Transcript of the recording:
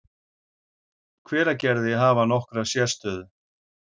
Hveragerði, hafa nokkra sérstöðu.